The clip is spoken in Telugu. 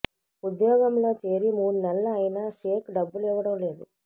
ఉద్యోగంలో చేరి మూడు నెలలు అయినా షేక్ డబ్బులు ఇవ్వడం లేదు